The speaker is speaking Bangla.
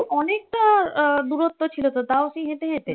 অনেকটা আহ দূরত্ব ছিল তো। তাও কি হেঁটে যেতে?